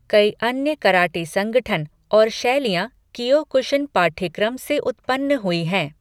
कई अन्य कराटे संगठन और शैलियाँ कीयोकुशिन पाठ्यक्रम से उत्पन्न हुई हैं।